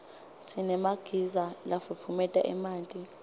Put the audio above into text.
sinemagiza lafutfumeta emanti